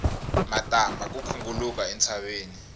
matambha ya khunguluka entshaveni